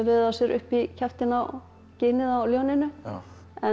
á sér upp í ginið á ljóninu en